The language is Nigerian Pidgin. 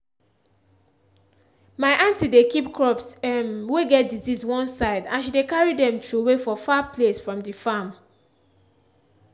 my aunty dey keep crops um wey get disease one side and she dey carry dem throway for far place from the farm.